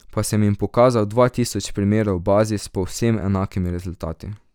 Pa sem jim pokazal dva tisoč primerov v bazi s povsem enakimi rezultati.